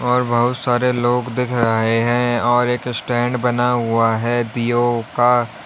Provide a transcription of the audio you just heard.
और बहुत सारे लोग दिख रहे हैं और एक स्टैंड बना हुआ है पीओ का।